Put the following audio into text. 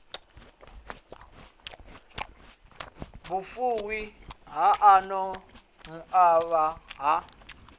vhufuwi ha ano mauvha ha